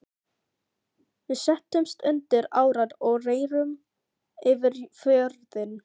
Við settumst undir árar og rerum yfir fjörðinn.